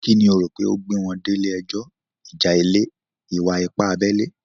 Kí ni o rò pé ó gbé wọn délé ẹjọ́? Ìjà ilẹ̀? Ìwà-ipá abẹ́lé?